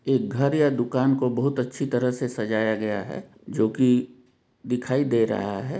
एक घर या दुकान को बहुत अच्छी तरह से सजाया गया है जो कि दिखाई दे रहा है।